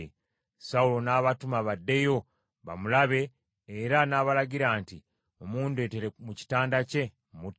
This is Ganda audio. Sawulo n’abatuma baddeyo bamulabe era n’abalagira nti, “Mumundeetere mu kitanda kye, mmutte.”